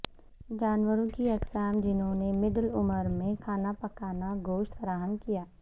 جانوروں کی اقسام جنہوں نے مڈل عمر میں کھانا پکانا گوشت فراہم کیا